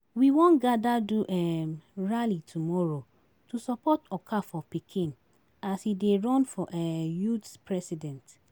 We wan gather do um rally tomorrow to support Okafor pikin as he dey run for um youth president